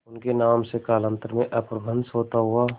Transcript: उनके नाम से कालांतर में अपभ्रंश होता हुआ